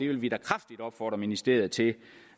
vil da kraftigt opfordre ministeriet til